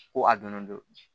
Ko a donnen don